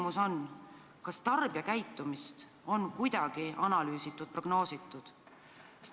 Kas eeldatavat tarbijakäitumist on kuidagi analüüsitud ja prognoositud?